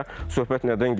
Və söhbət nədən gedir?